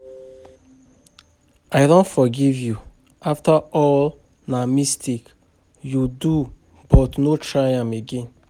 I don forgive you after all na mistake you do but no try am again